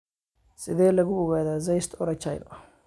Sidee lagu ogaadaa cyst urachal?